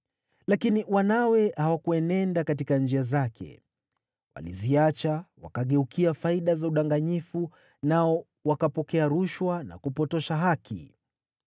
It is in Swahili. Lakini wanawe hawakuenenda katika njia zake. Waliziacha wakageukia faida za udanganyifu nao wakapokea rushwa na kupotosha haki.